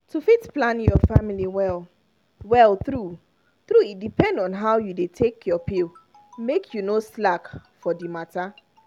to fit plan your family well-well true-true e depend on how you dey take your pill. make you no slack for the matter.